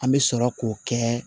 An bɛ sɔrɔ k'o kɛ